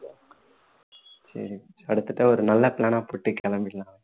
சரி அடுத்த தடவை ஒரு நல்ல plan னா போட்டு கிளம்பிடலாம்